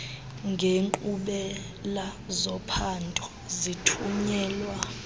ngenkqubela zophando zithunyelwa